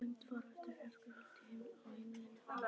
Lengdin fór eftir fólksfjölda á heimilunum.